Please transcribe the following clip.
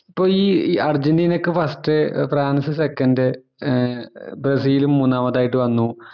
അപ്പൊ ഈ ഈ അർജന്റീന ക്കെ first ഫ്രാൻസ് second ഏർ ബ്രസിൽ മൂന്നാമത് ആയിട്ട് വന്നുമാനദണ്ഡം